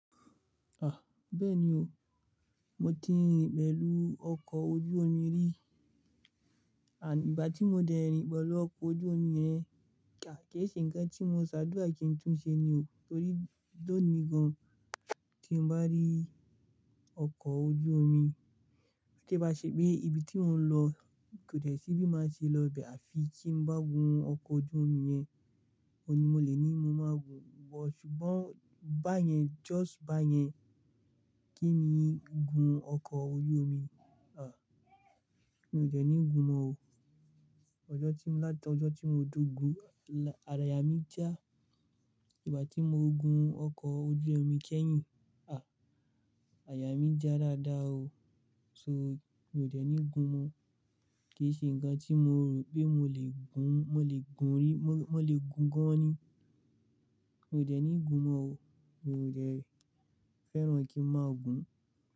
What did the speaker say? Ah! Bẹ́ẹ̀ni o, mo ti rìn pẹ̀lú ọkọ̀ ojú omi rí. À, ìgbà tí mo dè rìn pẹ̀lú ọkọ̀ ojú omi yẹn, kì í ṣe ǹkan tí mo ṣàdúrà kí n tún ṣe ní o, torí ló ni gan tí mo bá rí ọkọ̀ ojú omi. Ti i ba ṣe pé ibi tí mò ń lọ kò dẹ̀ sí bí má ṣe lọ ibẹ̀ àfi tí n bá gun ọkọ̀ ojú omi yẹn, òní mo lè ní mo máa gun wọ̀, ṣùgbọ́n bá yẹn just bá yẹn kí ni gun ọkọ̀ ojú omi? Ah! Mi ò dẹ̀ ní gun mọ́ o. Ọjọ́ tí mo, láti ọjọ́ tí mo ti gún, là yà mí já. Ìgbà tí mo gun ọkọ̀ ojú omi kẹ́yìn, ah! Àyà mí já dáadáa o. So mi ò dẹ̀ ní gun mọ́. Kì í ṣe ǹkan tí mo rò pé mo lè gun, mo lè gun rí, mo, mo lè gun gan an ni. Mi ò dẹ̀ ní gun mọ́ o. Mi ò dè fẹ́ràn kí n má gun.